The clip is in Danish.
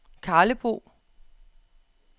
Karlebo